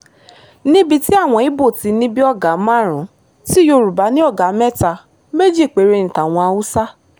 níbi tí àwọn ibo ti ní bíi ọ̀gá márùn-ún ti yorùbá ní ọ̀gá mẹ́ta méjì péré ní tàwọn haúsá